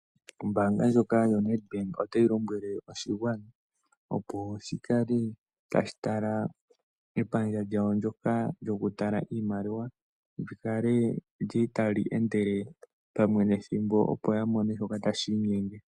Ombanga ndjoka yaNEDBANK otayi lombwele oshigwana opo shikale tashitala epandja lyokutala iimaliwa, opo yakale tayeendele pamwe nethimbo.